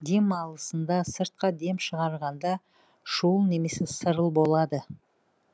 дем алысында сыртқа дем шығарғанда шуыл немесе сырыл болады